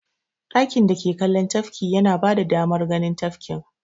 Ɗakin dake kallon tafki yana bada damar ganin tafkin.